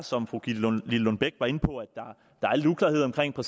som fru gitte lillelund bech var inde på være at der